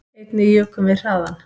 Einnig jukum við hraðann